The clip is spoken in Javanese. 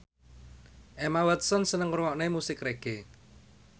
Emma Watson seneng ngrungokne musik reggae